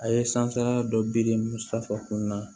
A ye sanfɛla dɔ birimu sanfɛ